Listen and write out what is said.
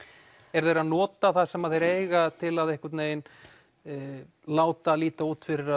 eru þeir að nota það sem þeir eiga til að láta líta út fyrir